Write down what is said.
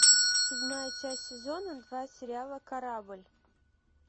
седьмая часть сезона два сериала корабль